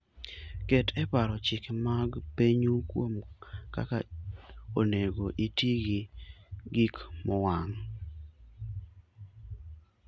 Ket e paro chike mag pinyu kuom kaka onego iti gi gik mowang'.